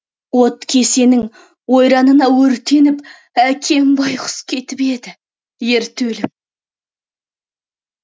от кесенің ойранына өртеніп әкем байғұс кетіп еді ерте өліп